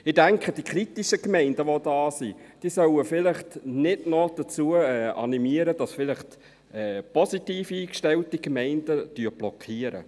Ich denke, die kritischen Gemeinden, die hier sind, sollten vielleicht nicht noch dazu animieren, dass vielleicht positiv eingestellte Gemeinden blockieren.